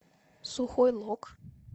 сухой лог